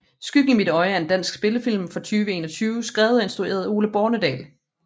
Skyggen i mit øje er en dansk spillefilm fra 2021 skrevet og instrueret af Ole Bornedal